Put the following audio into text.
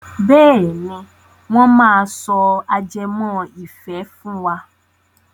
Bẹ́ẹ̀ni, wọ́n máa sọ ajẹmọ́ ìfẹ́ fún wa.